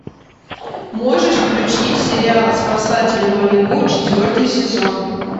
можешь включить сериал спасатели малибу четвертый сезон